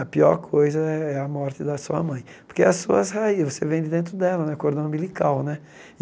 A pior coisa é a morte da sua mãe, porque as suas raí, você vem de dentro dela, né, cordão umbilical, né?